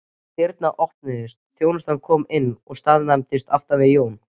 Dyr opnuðust, þjónusta kom inn og staðnæmdist aftan við Jón.